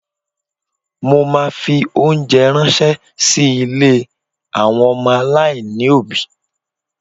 Mo ma fi óńjẹ ránṣẹ́ sí ilé àwọn ọmọ aláìní òbí.